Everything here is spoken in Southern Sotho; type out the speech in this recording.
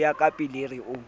ho ya ka pilir o